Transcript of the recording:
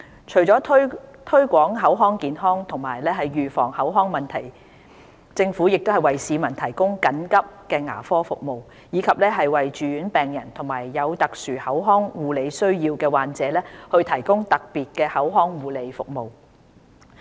除了推廣口腔健康及預防口腔問題，政府也為市民提供緊急牙科服務，以及為住院病人和有特殊口腔護理需要的患者提供特別口腔護理服務。